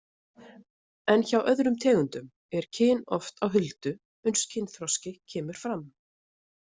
En hjá öðrum tegundum er kyn oft á huldu uns kynþroski kemur fram.